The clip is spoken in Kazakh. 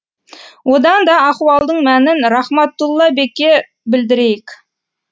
одан да ахуалдың мәнін рахматулла бекке білдірейік